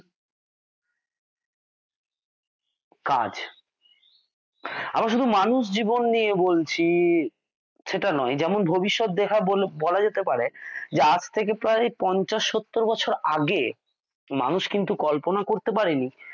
কাজ আমরা শুধু মানুষ জীবন নিয়ে বলছি সেটা নয় ভবিষ্যৎ দেখা বলা যেতে পারে যে আজ থেকে প্রায় পঞ্চাশ সত্তর বছর আগে মানুষ কিন্তু কল্পনা করতে পারে নি